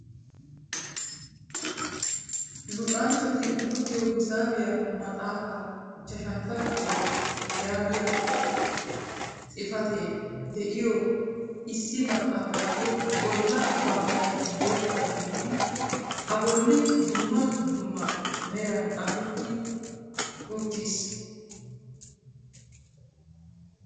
Luxanchchati luxiyo hisaabiyaa maxaafa ichashshantta kifiliyaa yaagiyaa xifatew de'iyoo issi maxaafayyo bolla baggay bootta gidid a bolli dumma dumma meran xaafeti ittiis.